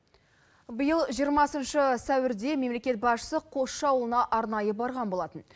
биыл жиырмасыншы сәуірде мемлекет басшысы қосшы ауылына арнайы барған болатын